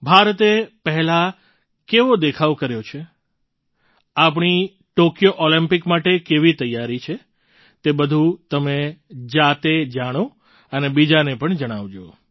ભારતે પહેલાં કેવો દેખાવ કર્યો છે આપણી ટૉક્યો ઑલિમ્પિક માટે કેવી તૈયારી છે તે બધું તમે જાતે જાણો અને બીજાને પણ જણાવજો